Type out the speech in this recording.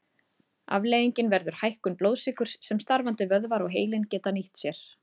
Afleiðingin verður hækkun blóðsykurs sem starfandi vöðvar og heilinn geta nýtt sér.